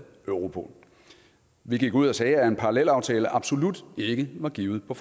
europol vi gik ud og sagde at en parallelaftale absolut ikke var givet på